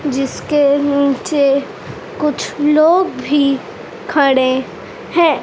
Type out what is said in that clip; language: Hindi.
जिसके नीचे कुछ लोग भी खड़े हैं।